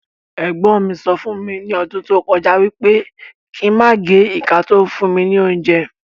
Ègbọ́n mí sọ fún mi ni ọdún tó kọjá wípé kín máa gé ìka to ń fún mi ní óúnjẹ